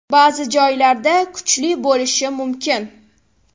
Ba’zi joylarda kuchli bo‘lishi mumkin.